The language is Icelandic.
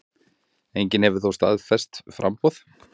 Enginn hefur þó staðfest framboð.